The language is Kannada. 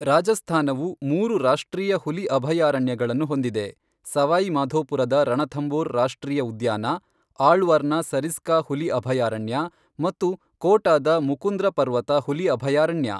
ರಾಜಸ್ಥಾನವು ಮೂರು ರಾಷ್ಟ್ರೀಯ ಹುಲಿ ಅಭಯಾರಣ್ಯಗಳನ್ನು ಹೊಂದಿದೆ, ಸವಾಯಿ ಮಾಧೋಪುರದ ರಣಥಂಬೋರ್ ರಾಷ್ಟ್ರೀಯ ಉದ್ಯಾನ, ಆಳ್ವಾರ್ನ ಸರಿಸ್ಕಾ ಹುಲಿ ಅಭಯಾರಣ್ಯ ಮತ್ತು ಕೋಟಾದ ಮುಕುಂದ್ರ ಪರ್ವತ ಹುಲಿ ಅಭಯಾರಣ್ಯ.